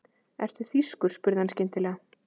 Ertu þýskur? spurði hann skyndilega.